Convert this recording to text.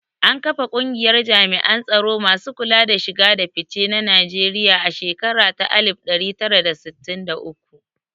An kafa kungiyar jami'an tsaro masu kula da shiga da fice na Nigerian a shekara ta alif ɗari tara da sittin da uku